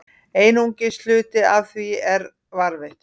Einungis hluti af því er varðveittur.